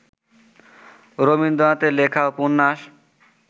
রবীন্দ্রনাথের লেখা উপন্যাস